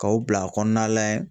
K'aw bila a kɔnɔna la